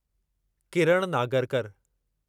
Kiran Nagarkar